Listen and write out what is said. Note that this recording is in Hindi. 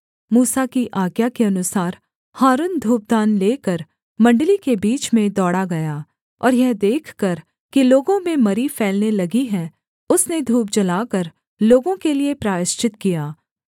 मूसा की आज्ञा के अनुसार हारून धूपदान लेकर मण्डली के बीच में दौड़ा गया और यह देखकर कि लोगों में मरी फैलने लगी है उसने धूप जलाकर लोगों के लिये प्रायश्चित किया